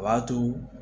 O b'a to